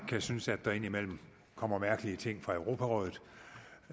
kan synes at der indimellem kommer mærkelige ting fra europarådet